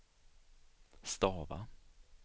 stava